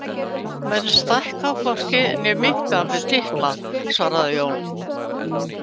Menn stækka hvorki né minnka við titla, svaraði Jón.